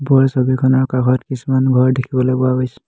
ওপৰৰ ছবিখনৰ কাষত কিছুমান ঘৰ দেখিবলৈ পোৱা গৈছে।